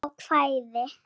Almennt ákvæði.